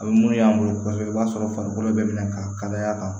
A bɛ mun y'an bolo kosɛbɛ i b'a sɔrɔ farikolo bɛɛ minɛ ka kalaya